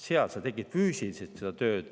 Seal sa tegid füüsiliselt seda tööd.